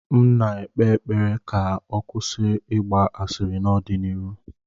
M na-ekpe ekpere ka ọ kwụsị ịgba asịrị n'ọdịnihu.